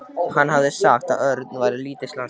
Hann hafði sagt að Örn væri lítið slasaður.